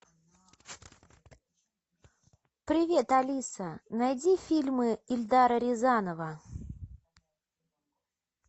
привет алиса найди фильмы эльдара рязанова